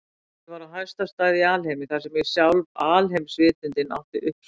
Ég var á hæsta stað í alheimi, þar sem sjálf alheimsvitundin átti uppsprettu sína.